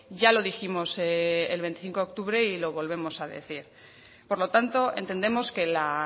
ya lo dijimos el veinticinco de octubre y lo volvemos a decir por lo tanto entendemos que la